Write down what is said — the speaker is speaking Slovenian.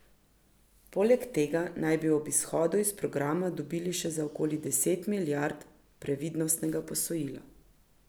Poleg tega naj bi ob izhodu iz programa dobili še za okoli deset milijard previdnostnega posojila.